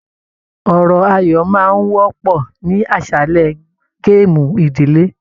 Ọ̀rọ̀ ayọ máa n wọpọ ní aṣálẹ gaamu ìdílé.